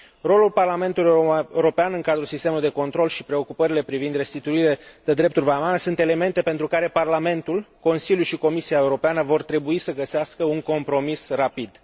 Rolul Parlamentului European în cadrul sistemului de control și preocupările privind restituirile de drepturi vamale sunt elemente pentru care Parlamentul, Consiliul și Comisia Europeană vor trebui să găsească un compromis rapid.